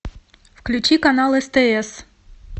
включи канал стс